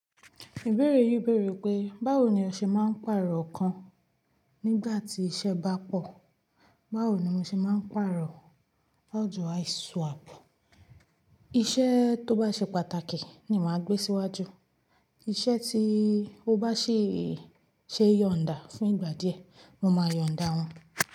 Ìbéèrè yìí bèèrè pé báwo ni ó ṣe máa ń pàrọ̀ kan nígbà tí iṣẹ́ bá pọ̀, báwo ni mo ṣe máa ń pàrọ̀? Iṣẹ to ba ṣe pàtàkì ni ma gbe siwaju, iṣẹ to ba si ṣe yọnda fun igba die moma yọnda wọn.